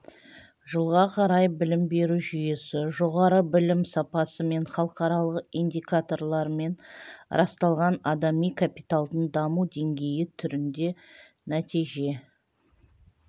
жылға қарай білім беру жүйесі жоғары білім сапасы мен халықаралық индикаторлармен расталған адами капиталдың даму деңгейі түрінде нәтиже